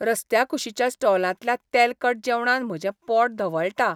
रस्त्याकुशीच्या स्टॉलांतल्या तेलकट जेवणान म्हजें पोट धवळटा.